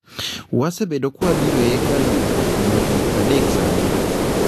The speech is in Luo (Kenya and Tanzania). “””Wasebedo ka wabiro e hekalu ni kuom higni pradek sani.”